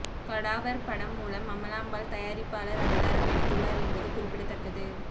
cadaver படம் மூலம் அமலா பால் தயாரிப்பாளர் அவதாரம் எடுத்துள்ளார் என்பது குறிப்பிடத்தக்கது